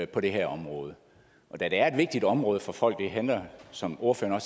på det her område og da det er et vigtigt område for folk det handler som ordføreren